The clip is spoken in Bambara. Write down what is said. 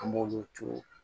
An b'olu turu